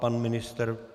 Pan ministr?